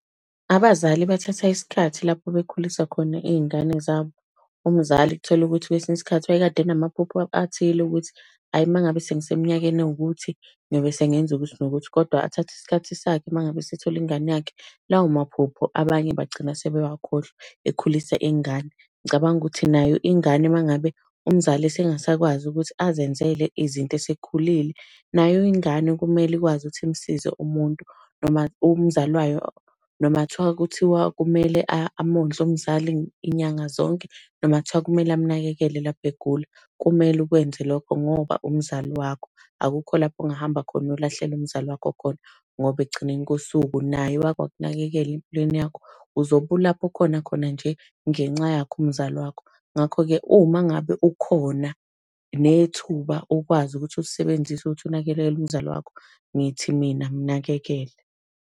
Abazali bathatha isikhathi lapho bekhulisa khona iy'ngane zabo. Umzali uthole ukuthi kwesinye isikhathi wayekade enamaphupho athile ukuthi hhayi uma ngabe sengise minyakeni ewukuthi ngiyobe sengenza ukuthi nokuthi. Kodwa athathe isikhathi sakhe uma ngabe esethole ingane yakhe. Lawo maphupho abanye bagcina sebewakhohlwa, ekhulisa ingane. Ngicabanga ukuthi nayo ingane uma ngabe umzali esengasakwazi ukuthi azenzele izinto esekhulile, nayo ingane kumele ikwazi ukuthi imsize umuntu noma umzali wayo. Noma thiwa kuthiwa kumele amondle umzali iy'nyanga zonke, noma kuthiwa kumele amnakeke lapho egula. Kumele ukwenze lokho, ngoba umzali wakho, akukho lapho ongahamba khona uyolahlela umzali wakho khona ngoba ekugcineni kosuku naye wake wakunakekela empilweni yakho. Uzobe ulapho okhona khona nje ngenxa yakhe umzali wakho. Ngakho-ke uma ngabe ukhona, nethuba ukwazi ukuthi ulisebenzise ukuthi unakekele umzali wakho. Ngithi mina mnakekele.